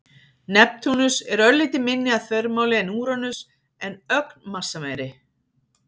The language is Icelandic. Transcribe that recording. Neptúnus er örlítið minni að þvermáli en Úranus en ögn massameiri.